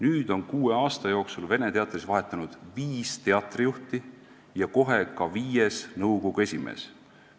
Nüüd on kuue aasta jooksul Vene Teatris vahetunud viis teatrijuhti ja kohe ka viies nõukogu esimees.